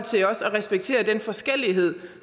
skal respektere den forskellighed